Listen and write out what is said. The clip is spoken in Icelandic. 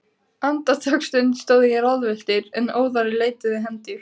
Andartaksstund stóð ég ráðvilltur, en óðara leituðu hendur